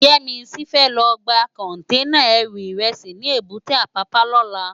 Yemisi fè lò gbá kònténá èrú irèsí ni ébùté Apapa lòlá